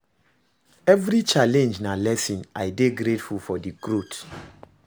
Evri challenge na lesson, I dey grateful for di growth